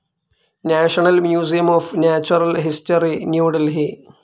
national museum of natural history, new Delhi